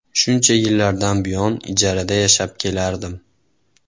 Shuncha yillardan buyon ijarada yashab kelardim.